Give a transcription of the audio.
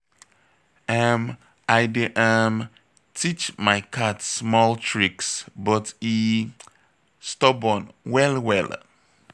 um I dey um teach my cat small tricks, but e stubborn well well.